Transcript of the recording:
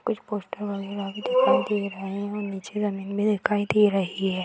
कुछ पोस्टर वगैरा भी दिखाई दे रहे हैं और निचे जमीन भी दिखाई दे रही है ।